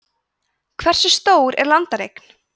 hversu stór er landareign